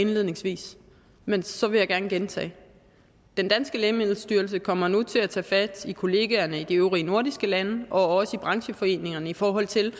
indledningsvis men så vil jeg gerne gentage det lægemiddelstyrelsen kommer nu til at tage fat i kollegaerne i de øvrige nordiske lande og også i brancheforeningerne i forhold til